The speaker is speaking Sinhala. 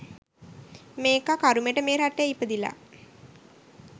මේකා කරුමෙට මේ රටේ ඉපදිලා